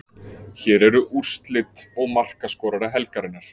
Hér eru úrslit og markaskorara helgarinnar: